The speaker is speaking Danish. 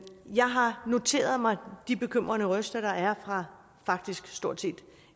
jeg har noteret mig de bekymrede røster der er fra